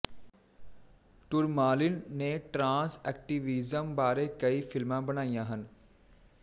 tourmaline ਨੇ trans activism ਬਾਰੇ ਕਈ ਫ਼ਿਲਮਾਂ ਬਣਾਈਆਂ ਹਨ